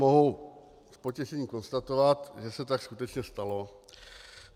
Mohu s potěšením konstatovat, že se tak skutečně stalo.